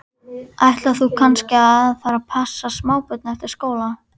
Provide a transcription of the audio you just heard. Ætlar þú kannski að fara að passa smábörn eftir skóla?